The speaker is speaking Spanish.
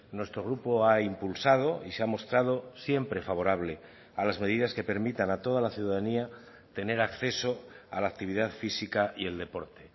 nuestro grupo ha impulsado y se ha mostrado siempre favorable a las medidas que permitan a toda la ciudadanía tener acceso a la actividad física y el deporte